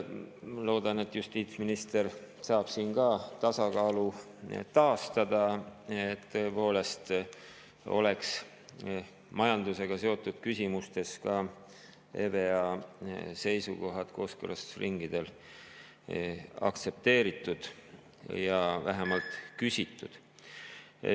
Ma loodan, et justiitsminister saab siin tasakaalu taastada, et majandusega seotud küsimustes oleksid ka EVEA seisukohad kooskõlastusringidel aktsepteeritud või neid oleks vähemalt küsitud.